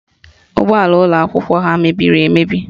Ụgbọala ụlọakwụkwọ ha mebiri emebi